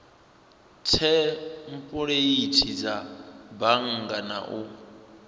thempuleithi dza bannga na u